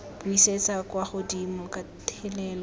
buisetsa kwa godimo ka thelelo